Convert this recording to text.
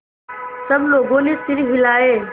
सब लोगों ने सिर हिलाए